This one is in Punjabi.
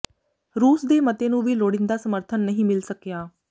ਰੂਸ ਦੇ ਮਤੇ ਨੂੰ ਵੀ ਲੋੜੀਂਦਾ ਸਮਰਥਨ ਨਹੀਂ ਮਿਲ ਸਕਿਆ